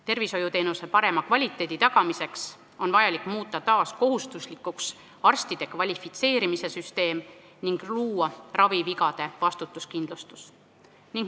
Tervishoiuteenuse parema kvaliteedi tagamiseks on vaja muuta taas kohustuslikuks arstide kvalifitseerimise süsteem ning luua ravivigade vastutuskindlustus.